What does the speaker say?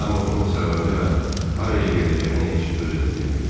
Amma bunun səbəbini və haraya gedəcəyini heç özü də bilmirdi.